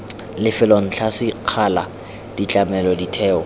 lefelo ntlha sekgala ditlamelo ditheo